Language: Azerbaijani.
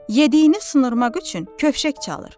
Yediyini sıyırmaq üçün kövşək çalar.